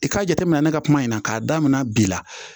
I k'a jate minɛ ne ka kuma in na k'a daminɛ bi la